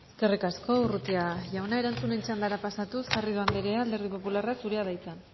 eskerrik asko urrutia jauna erantzunen txandara pasatuz garrido andrea alderdi popularra zurea da hitza